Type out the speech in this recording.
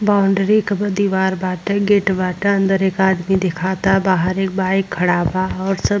Boundary के दीवाल बाटे। गेट बाटे। अंदर एक आदमी दिखाता। बाहर एक बाइक खड़ा बा और सब --